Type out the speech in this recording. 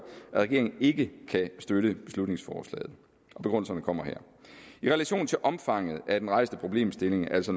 at regeringen ikke kan støtte beslutningsforslaget og begrundelserne kommer her i relation til omfanget af den rejste problemstilling altså